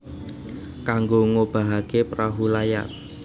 Kanggo ngobahaké perahu layar